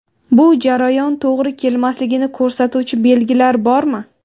Bu jarayon to‘g‘ri kelmasligini ko‘rsatuvchi belgilar bormi?